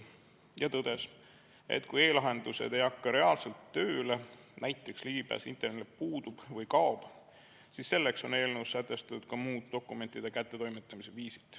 Ta tõdes, et kui e-lahendused ei hakka reaalselt tööle, näiteks ligipääs internetile puudub või kaob, siis selleks on eelnõus sätestatud ka muud dokumentide kättetoimetamise viisid.